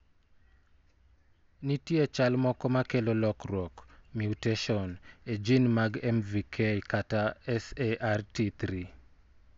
Nitie chal moko ma kelo lokruok (mutation) e gene mag MVK kata SART3.